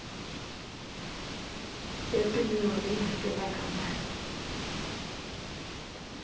yo pimiwa leyi hakelaka mali